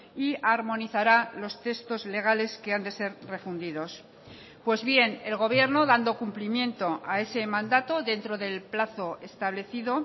y armonizará los textos legales que han de ser refundidos pues bien el gobierno dando cumplimiento a ese mandato dentro del plazo establecido